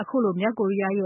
အခုလို မြောက်ကိုရီးယားရဲ